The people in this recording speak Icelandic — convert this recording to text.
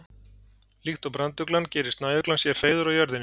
líkt og branduglan gerir snæuglan sér hreiður á jörðinni